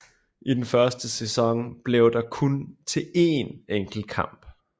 I den første sæson blev det kun til én enkelt kamp